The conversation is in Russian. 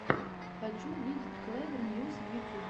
хочу увидеть клэвер ньюс в ютюбе